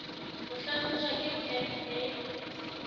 ho hlahlojwa ke pac e